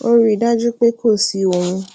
ó rí i dájú pé kò sí ohun